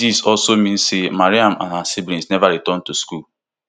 dis also mean say mariam and her siblings never return to school